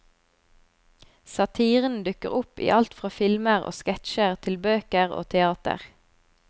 Satiren dukker opp i alt fra filmer og sketsjer til bøker og teater.